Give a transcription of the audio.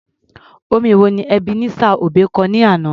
Orin wo ni Ebenezer Obey kọ ní àná?